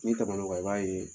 N'i tɛmɛna o kan i b'a ye